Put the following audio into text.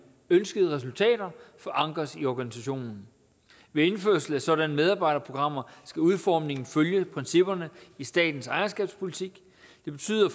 ønskede resultater forankres i organisationen ved indførelse af sådanne medarbejderprogrammer skal udformningen følge principperne i statens ejerskabspolitik det betyder